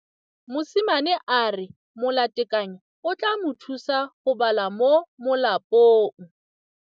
Mosimane a re molatekanyô o tla mo thusa go bala mo molapalong.